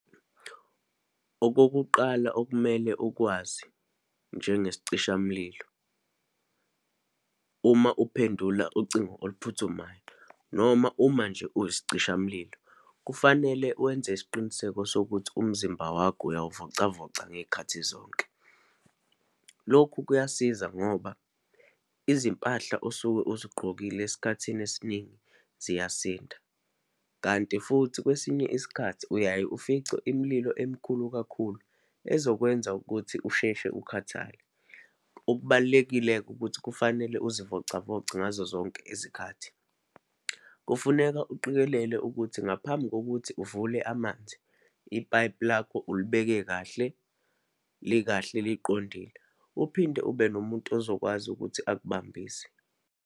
Okokuqala okumele ukwazi njengesicishamlilo, uma uphendula ucingo oluphuthumayo, noma uma nje uyisicishamlilo, kufanele wenze isiqiniseko sokuthi umzimba wakho uyawuvocavoca ngeyikhathi zonke. Lokhu kuyasiza ngoba izimpahla osuke uzigqokile esikhathini esiningi ziyasinda, kanti futhi kwesinye isikhathi uyaye ufice imililo emikhulu kakhulu, ezokwenza ukuthi usheshe ukhathale. Okubalulekile-ke ukuthi kufanele uzivocavoce ngazozonke izikhathi. Kufuneka uqikelele ukuthi ngaphambi kokuthi uvule amanzi, ipayipi lakho ulibeke kahle, likahle, liqondile, uphinde ube nomuntu ozokwazi ukuthi akubambise.